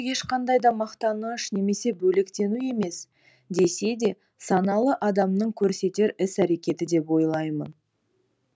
ешқандай да мақтаныш немесе бөлектену емес десе де саналы адамның көрсетер іс әрекеті деп ойлаймын